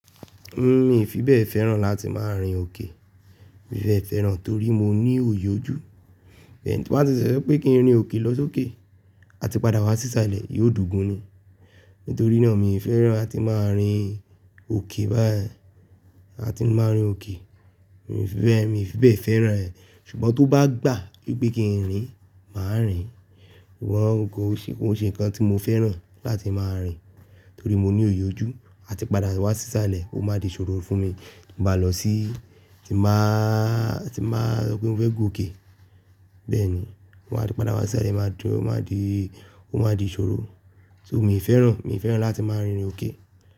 Mí, mi fi bẹ́ẹ̀ fẹ́ràn láti máa rin òkè. Mi fi bẹ́ẹ̀ fẹ́ràn torí mo ní òye ojú. Bẹ́ẹ̀ni, tí n bá ti ṣẹ̀ṣẹ̀ wípé kí n rin òkè lọ sókè, a ti padà wá sísalẹ̀, yóò dogún ni. Nítorí náà mi ò fẹ́ràn láti máa rin òkè báyìí, láti máa rin òkè. Mi fi bẹ́ẹ̀, mi fi bẹ́ẹ̀ fẹ́ràn rẹ̀. Ṣùgbọ́n tó bá gbà wípé kí n rìn, màá rìn. Wọ́n kò ṣe, kò ṣe nǹkan tí mo fẹ́ràn láti máa rìn. Torí mo ní òoyì ojú, a ti padà wá sí salẹ̀, ó máa di ìṣòro fún mi tí mo bá lọ sí, tí n báa, tí n báa sọ pé mo fẹ́ g'òkè. Bẹ́ẹ̀ni, àti padà wá sísalẹ̀, máa dí, ó máa di, ó máa di ìṣòro. So mi ò fẹ́ràn, mi ò fẹ́ràn láti máa rin òkè.